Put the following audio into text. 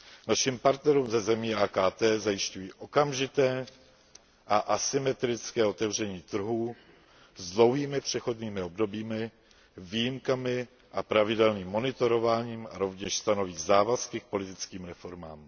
Našim partnerům ze zemí AKT zajišťují okamžité a asymetrické otevření trhů s dlouhými přechodnými obdobími, výjimkami a pravidelným monitorováním a rovněž stanoví závazky k politickým reformám.